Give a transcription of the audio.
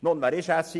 Nun, wer ist SIP?